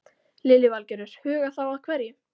Lillý Valgerður: Huga þá að hverju?